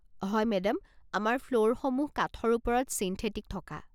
হয় মেডাম, আমাৰ ফ্ল'ৰসমূহ কাঠৰ ওপৰত চিণ্ঠেটিক থকা।